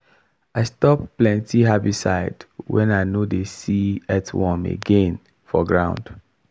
i stop plenty herbicide when i no dey see earthworm again for ground.